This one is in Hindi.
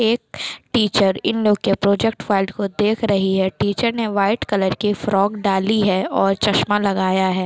--एक टीचर इन लोगो की प्रोजेक्ट फाइल को देख रही है टीचर ने वाइट कलर की फ्रॉक डाली है और चश्मा लगाया है।